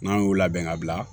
N'an y'u labɛn ka bila